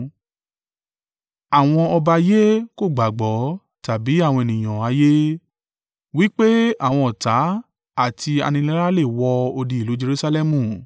Àwọn ọba ayé kò gbàgbọ́, tàbí àwọn ènìyàn ayé, wí pé àwọn ọ̀tá àti aninilára le wọ odi ìlú Jerusalẹmu.